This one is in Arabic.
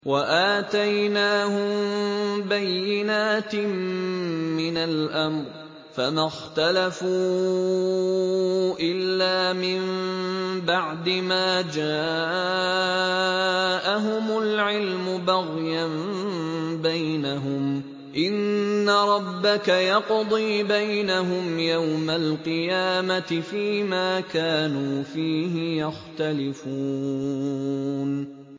وَآتَيْنَاهُم بَيِّنَاتٍ مِّنَ الْأَمْرِ ۖ فَمَا اخْتَلَفُوا إِلَّا مِن بَعْدِ مَا جَاءَهُمُ الْعِلْمُ بَغْيًا بَيْنَهُمْ ۚ إِنَّ رَبَّكَ يَقْضِي بَيْنَهُمْ يَوْمَ الْقِيَامَةِ فِيمَا كَانُوا فِيهِ يَخْتَلِفُونَ